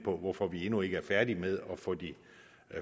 om hvorfor vi endnu ikke er færdige med at få de